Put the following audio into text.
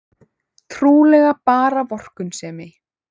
Trúlega bara vorkunnsemi.